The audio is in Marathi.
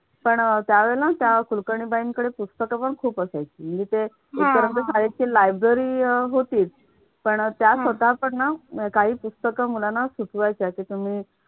पण अह त्या वेळेला त्या कुलकर्णी बाईंकडे पुस्तक पण खूप असायची. ते शाळेत library होती पण त्या स्वतः पण ना काही पुस्तकं मुलांना सुचवायच्या तस मी